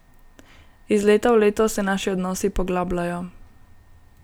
Iz leta v leto se naši odnosi poglabljajo.